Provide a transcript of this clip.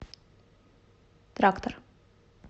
трактор